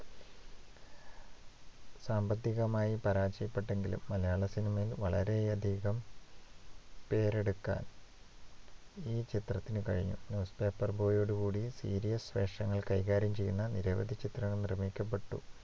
സാമ്പത്തികമായി പരാജയപ്പെട്ടെങ്കിലും മലയാളസിനിമയിൽ വളരെയധികം പേരെടുക്കാൻ ഈ ചിത്രത്തിനു കഴിഞ്ഞു. newspaper boy ഓട് കൂടി serious വിഷയങ്ങൾ കൈകാര്യം ചെയ്യുന്ന നിരവധി ചിത്രങ്ങൾ നിർമ്മിക്കപ്പെട്ടു.